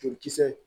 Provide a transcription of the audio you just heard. Jolikisɛ